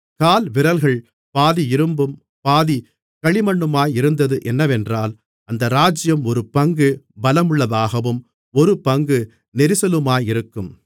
கால்விரல்கள் பாதி இரும்பும் பாதி களிமண்ணுமாயிருந்தது என்னவென்றால் அந்த ராஜ்ஜியம் ஒரு பங்கு பலமுள்ளதாகவும் ஒரு பங்கு நெரிசலுமாயிருக்கும்